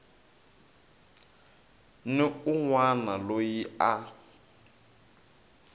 ni un wana loyi a